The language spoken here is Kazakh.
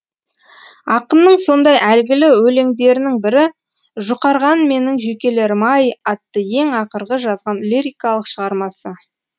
ақынның сондай әйгілі өлеңдерінің бірі жұқарған менің жүйкелерім ай атты ең ақырғы жазған лирикалық шығармасы